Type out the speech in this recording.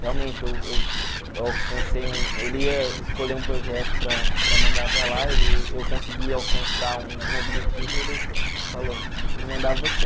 Realmente, eu eu eu alcancei um ele ia escolher um projeto para para mandar para lá, eu consegui alcançar um objetivo e ele falou, vou mandar você.